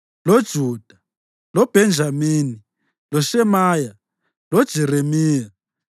loJuda, loBhenjamini, loShemaya, loJeremiya,